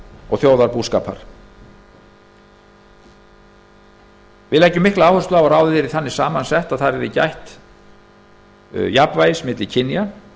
og þjóðarbúskapar við leggjum mikla áherslu á að ráðið yrði þannig samansett að þar yrði jafnvægis gætt milli kynja